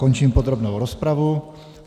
Končím podrobnou rozpravu.